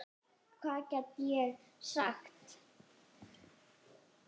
Hvað gat ég sagt?